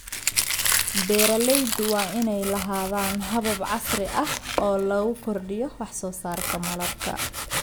Beeralaydu waa inay lahaadaan habab casri ah oo lagu kordhiyo wax soo saarka malabka.